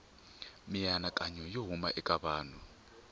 mianakanyo yo huma eka vanhu